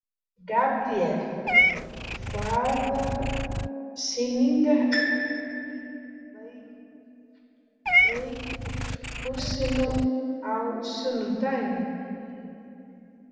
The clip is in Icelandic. Gabríel, hvaða sýningar eru í leikhúsinu á sunnudaginn?